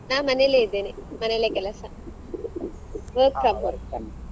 ನಾ ಮನೇಲೆ ಇದ್ದೇನೆ ಮನೇಲೆ ಕೆಲಸ .